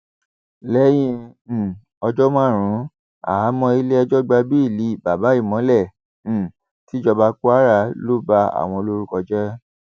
lẹyìn um ọjọ márùnún háàhámọ iléẹjọ gba béèlì babà ìmọlẹ um tìjọba kwara ló ba àwọn lórúkọ jẹ